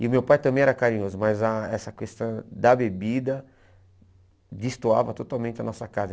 E o meu pai também era carinhoso, mas a essa questão da bebida destoava totalmente a nossa casa.